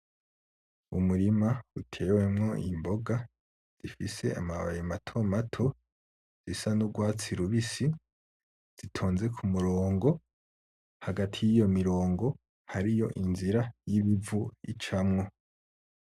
Umurima utewemwo imboga zifise amababi mato mato, zisa n'ugwatsi rubisi zitonze ku murongo. Hagati y'iyo mirongo hariyo inzira y'ibivu icamwo.